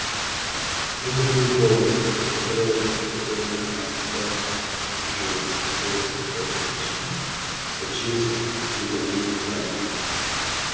это был голос от которого перехватило дыхание кровь стала в жилах голос который сочи сочился ледяным ядом